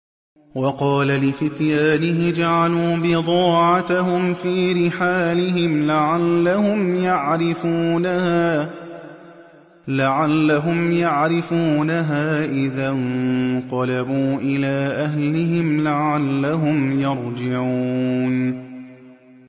وَقَالَ لِفِتْيَانِهِ اجْعَلُوا بِضَاعَتَهُمْ فِي رِحَالِهِمْ لَعَلَّهُمْ يَعْرِفُونَهَا إِذَا انقَلَبُوا إِلَىٰ أَهْلِهِمْ لَعَلَّهُمْ يَرْجِعُونَ